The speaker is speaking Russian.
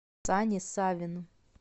сане савину